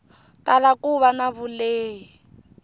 tala ku va na vulehi